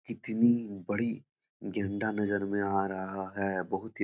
इतनी बड़ी गेंडा नजर में आ रहा है। बहुत ही --